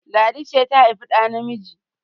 Ladi ce ta haifi ɗa namiji!